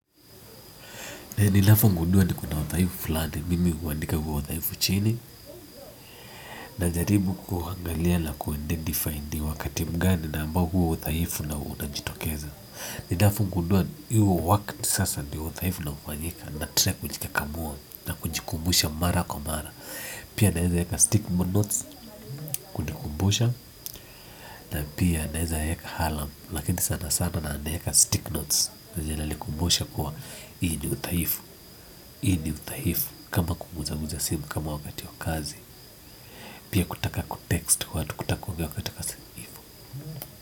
Ninapogundua kuna udhaifu fulani mimi huandika huo udhaifu chini najaribu kuangalia na na ku identify ni wakati gani huo udhaifu unajitokeza ninavyogundua hio wakati sasa udhaifu unaofanyika ndio na try kujikakamua na kujikumbusha mara kwa mara pia naweza weka stick notes kutukumbusha na pia naeza eka alarm, lakini sana sana naeka stick notes. Vile inanikumbusha kua hii ni udhaifu kama kuuza uza simu wakati wa kazi pia kutaka kutext watu kutaka wakati kasa.